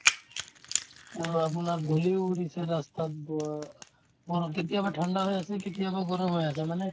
অলপ অলপ ধূলিও উৰিছে ৰাস্তাত ব অ কেতিয়াবা ঠাণ্ডা হৈ আছে কেতিয়াবা গৰম হৈ আছে মানে